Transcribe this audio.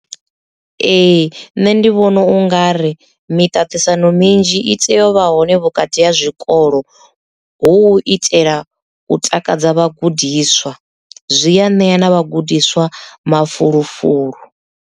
Ee nṋe ndi vhona u nga ri miṱaṱisano minzhi i tea u vha hone vhukati ha zwikolo hu u itela u takadza vhagudiswa zwi ya ṋea na vhagudiswa mafulufulu.